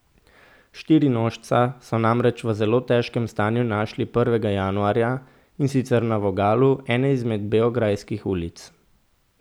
Štirinožca so namreč v zelo težkem stanju našli prvega januarja, in sicer na vogalu ene izmed beograjskih ulic.